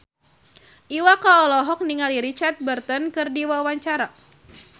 Iwa K olohok ningali Richard Burton keur diwawancara